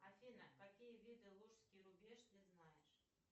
афина какие виды лужский рубеж ты знаешь